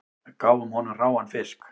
Við gáfum honum hráan fisk